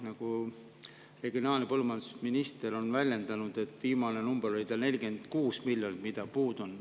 Nagu regionaal‑ ja põllumajandusminister on väljendanud, viimane number oli 46 miljonit, mis tal puudu on.